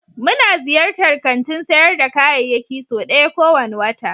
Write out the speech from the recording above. Muna ziyartar kantin sayar da kayayyaki sau ɗaya kowane wata.